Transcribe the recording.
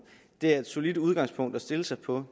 det er et solidt udgangspunkt at stille sig på